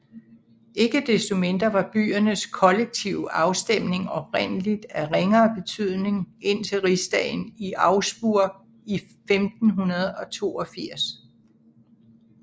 Ikke desto mindre var byernes kollektive afstemning oprindeligt af ringere betydning indtil rigsdagen i Augsburg i 1582